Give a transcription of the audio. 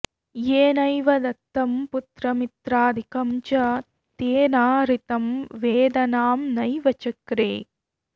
येनैव दत्तं पुत्रमित्रादिकं च तेना हृतं वेदनां नैव चक्रे